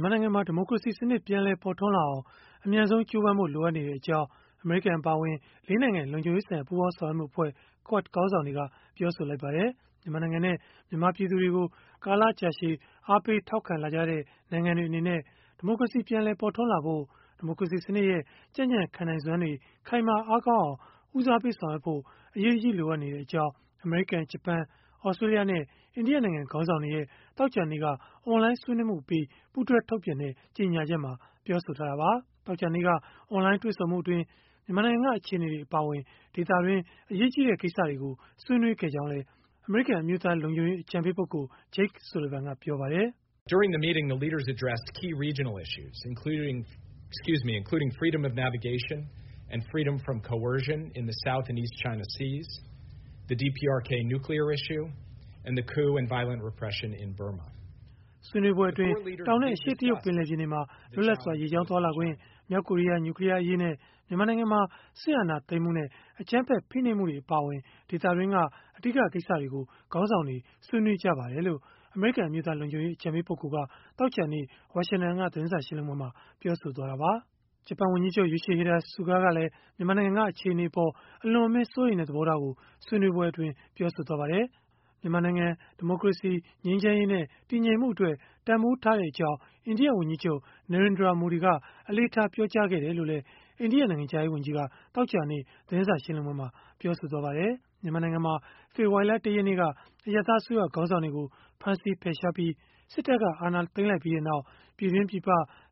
မြန်မာနိုင်ငံမှာ ဒီမိုကရေစီစနစ် ပြန်လည်ပေါ်ထွန်းလာအောင် အမြန်ဆုံးကြိုးပမ်းဖို့ လိုအပ်နေကြောင်း အမေရိကန် အပါအဝင် ၄ နိုင်ငံလုံခြုံရေးဆိုင်ရာ ပူးပေါင်းဆောင်ရွက်မှုအဖွဲ့ QUAD ခေါင်းဆောင်တွေ ပြောဆိုလိုက်ပါတယ်။ မြန်မာနိုင်ငံနဲ့ မြန်မာပြည်သူတွေကို ကာလကြာရှည် အားပေးထောက်ခံလာခဲ့ကြတဲ့ နိုင်ငံတွေ အနေနဲ့ ဒီမိုကရေစီ ပြန်လည်ပေါ်ထွန်းလာဖို့၊ ဒီမိုကရေစီစနစ်ရဲ့ ကြံ့ကြံ့ခံနိုင်စွမ်းတွေ ခိုင်မာအားကောင်းအောင် ဦးစားပေး ဆောင်ရွက်ဖို့ အရေးတကြီး လိုအပ်နေကြောင်း အမေရိကန်၊ ဂျပန်၊ သြစတြေးလျနဲ့ အိန္ဒိယနိုင်ငံ ခေါင်းဆောင်တွေရဲ့ သောကြာနေ့က အွန်လိုင်းဆွေးနွေးမှုအပြီး ပူးတွဲ ထုတ်ပြန်တဲ့ ကြေညာချက်မှာ ပြောဆိုထားတာပါ။ သောကြာနေ့က အွန်လိုင်းတွေ့ဆုံမှုအတွင်း မြန်မာနိုင်ငံက အခြေအနေတွေ အပါအဝင် ဒေသတွင်း အရေးကြီးတဲ့ ကိစ္စတွေကို ဆွေးနွေးခဲ့ကြောင်းလည်း အမေရိကန် အမျိုးသားလုံခြုံရေး အကြံပေး Jake Sullivan က ပြောပါတယ်။ “ဆွေးနွေးပွဲအတွင်း တောင်နဲ့ အရှေ့တရုတ် ပင်လယ်ပြင်တွေမှာ လွတ်လပ်စွာ ရေကြောင်းသွားလာခွင့်၊ မြောက်ကိုရီးယား နျူကလီးယားအရေးနဲ့ မြန်မာနိုင်ငံမှာ စစ်အာဏာသိမ်းမှုနဲ့ အကြမ်းဖက် ဖိနှိပ်မှုတွေ အပါအဝင် ဒေသတွင်းက အဓိက ကိစ္စတွေကို ခေါင်းဆောင်တွေ ဆွေးနွေးကြပါတယ်။” လို့ အမေရိကန် အမျိုးသားလုံခြုံရေး အကြံပေးက သောကြာနေ့ ဝါရှင်တန်က သတင်းစာရှင်းလင်းပွဲမှာ ပြောဆိုသွားတာပါ။ ဂျပန်ဝန်ကြီးချုပ် Yoshihide Suga ကလည်း မြန်မာနိုင်ငံက အခြေအနေအပေါ် အလွန်အမင်း စိုးရိမ်တဲ့ သဘောထားကို ဆွေးနွေးပွဲအတွင်း ပြောဆိုခဲ့ပါတယ်။ မြန်မာနိုင်ငံ ဒီမိုကရေစီ၊ ငြိမ်းချမ်းရေးနဲ့ တည်ငြိမ်မှု အတွက် တန်ဘိုးထားတဲ့အကြောင်း အိန္ဒိယဝန်ကြီးချုပ် Narendra Modi က အလေးထား ပြောကြားခဲ့တယ်လို့လည်း အိန္ဒိယနိုင်ငံခြားရေးဝန်ကြီးက သောကြာနေ့ သတင်းစာရှင်းလင်းပွဲမှာ ပြောဆိုသွားပါတယ်။ မြန်မာနိုင်ငံမှာ ဖေဖော်ဝါရီလ ၁ ရက်နေ့က အရပ်သား အစိုးရခေါင်းဆောင်တွေကို ဖမ်းဆီးဖယ်ရှားပြီး စစ်တပ်က အာဏာသိမ်းလိုက်ပြီးနောက်၊ ပြည်တွင်း၊ ပြည်ပ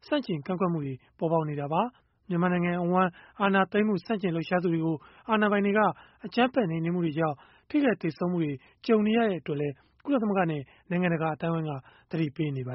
ဆန့်ကျင်ကန့်ကွက်မှုတွေ ပေါ်ပေါက်နေတာပါ။ မြန်မာနိုင်ငံအဝန်း အာဏာသိမ်းမှု ဆန့်ကျင်လှုပ်ရှားသူတွေကို အာဏာပိုင်တွေက အကြမ်းဖက် နှိမ်နင်းမှုတွေကြောင့် ထိခိုက်သေဆုံးမှုတွေ ကြုံနေရတဲ့ အတွက်လည်း ကုလသမဂ္ဂနဲ့ နိုင်ငံတကာ အသိုင်းအဝန်းက သတိပေးနေပါ